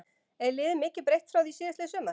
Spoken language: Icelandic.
Er liðið mikið breytt frá því síðastliðið sumar?